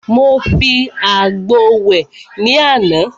Mo fi àgbo wẹ̀ ní àná.